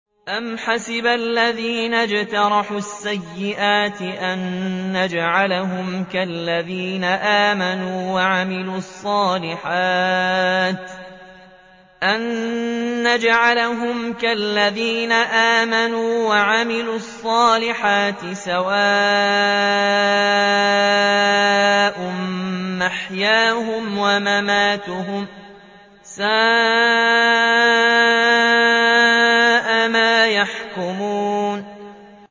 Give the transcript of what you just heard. أَمْ حَسِبَ الَّذِينَ اجْتَرَحُوا السَّيِّئَاتِ أَن نَّجْعَلَهُمْ كَالَّذِينَ آمَنُوا وَعَمِلُوا الصَّالِحَاتِ سَوَاءً مَّحْيَاهُمْ وَمَمَاتُهُمْ ۚ سَاءَ مَا يَحْكُمُونَ